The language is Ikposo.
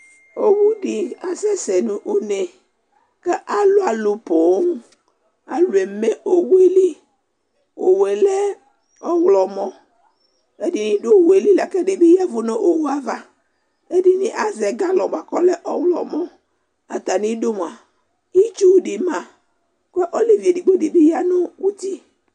Owu dɩ asɛsɛ nʋ une kʋ alʋ alʋ poo Alʋ eme owu yɛ li Owu yɛ lɛ ɔɣlɔmɔ Ɛdɩnɩ dʋ owu yɛ li la kʋ ɛdɩ bɩ ya ɛvʋ nʋ owu yɛ ava Ɛdɩnɩ azɛ galɔ bʋa kʋ ɔlɛ ɔɣlɔmɔ Atamɩdu mʋa, itsu dɩ ma kʋ olevi edigbo dɩ bɩ ya nʋ uti